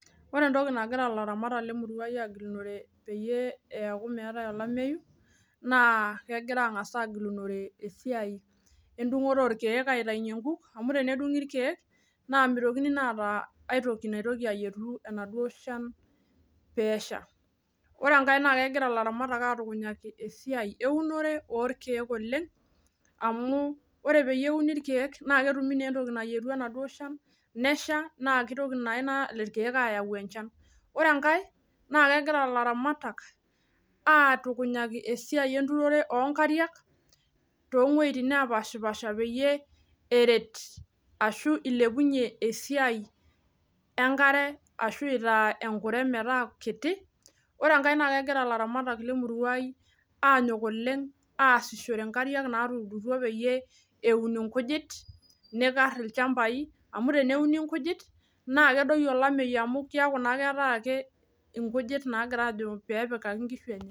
Ore entoki nagira ilaramatak le murwa ai agilunore peyie eeku meetae olameyu naa kegira aang'as agilunore esiai endung'oto orkiek aitainye nkuk amu tenedung'i irkiek naa mitokini naa aata aitoki naitoki ayietu enaduo shan peesha. Ore enkae naa kegira ilaramatak atukunyaki esiai eunore orkiek oleng amu ore peeyie euni irkiek naa ketumi naa ena toki nayietu enaduo shan, nesha naa kitoki naa irkiek ayau enchan. Ore enkae naa kegira ilaramatak aatukunyaki esiai enturore oo nkariak too wueitin nepaashipaasha peyie eret ashu ilepunye esiai enkare ashu itaa enkure metaa kit. Ore enkae naa kegira ilaramatak le murwa ai anyone oleng aasishore nkariak naatuturutwo peyie eun inkujit nikarr ilchambai amu teneuni nkujit naa kedoyi olameyu amu kiaku naa keetae ake inkujit naagira aajo peepikaki inkishu enye